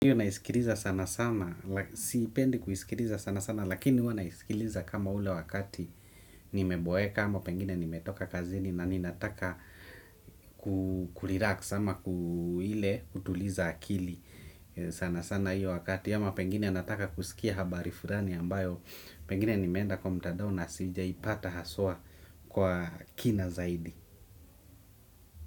Iyo naisikiliza sana sana, siipendi kuisikiliza sana sana, lakini huwa naisikiliza kama ule wakati nimeboeka ama pengine nimetoka kazini na ninataka kurelax ama ile kutuliza akili sana sana hiyo wakati ama pengine nataka kusikia habari fulani ambayo pengine nimeenda kwa mtandao na sijaipata haswa kwa kina zaidi.